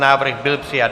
Návrh byl přijat.